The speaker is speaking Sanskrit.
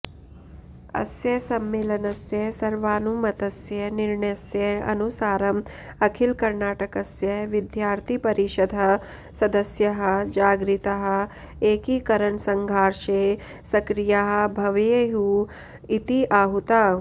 अस्य सम्मेलनस्य सर्वानुमतस्य निर्णयस्य अनुसारम् अखिलकर्णाटकस्य विद्यार्थिपरिषदः सदस्याः जागरिताः एकिकरणसङ्घार्षे सक्रियाः भवेयुः इति अहूताः